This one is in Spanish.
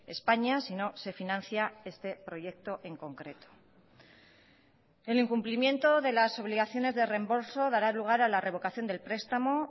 españa si no se financia este proyecto en concreto el incumplimiento de las obligaciones de reembolso dará lugar a la revocación del prestamo